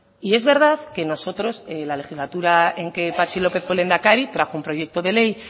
y es verdad que nosotros en la legislatura en que patxi lópez fue lehendakari trajo un proyecto de ley